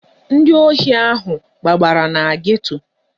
Ndị ohi ahụ gbabara na geto.